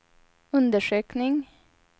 undersökning